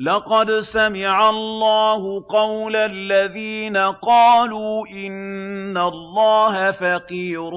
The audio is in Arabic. لَّقَدْ سَمِعَ اللَّهُ قَوْلَ الَّذِينَ قَالُوا إِنَّ اللَّهَ فَقِيرٌ